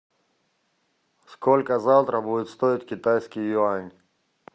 сколько завтра будет стоить китайский юань